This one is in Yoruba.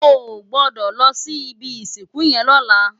Ò gbòdò lò si ibi isinkú yèn lòlá